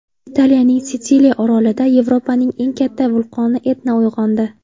Italiyaning Sitsiliya orolida Yevropaning eng katta vulqoni Etna uyg‘ondi.